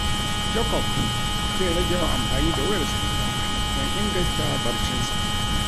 Jacob zai rage yawan amfani da wayar salula don inganta barcinsa.